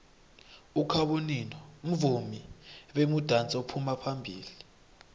ukhabonino mvumi bemudansi ophuma phambilo